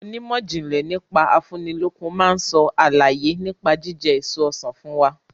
Onímọ̀jìnlẹ̀ nípa afúnilókun máa sọ àlàyé nípa jíjẹ èso Ọsàn fún wa.